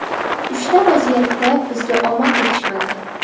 Uchta vaziyatda bizga omad yetishmadi.